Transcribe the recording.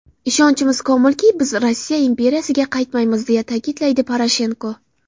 Ishonchimiz komilki biz Rossiya imperiyasiga qaytmaymiz”, deya ta’kidlaydi Poroshenko.